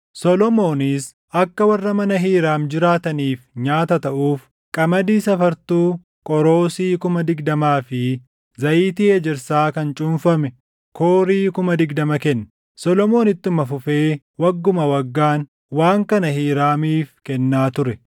Solomoonis akka warra mana Hiiraam jiraataniif nyaata taʼuuf qamadii safartuu qoroosii kuma digdamaa fi zayitii ejersaa kan cuunfame koorii kuma digdama kenne. Solomoon ittuma fufee wagguma waggaan waan kana Hiiraamiif kennaa ture.